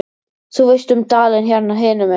Þú veist um dalinn hérna hinum megin.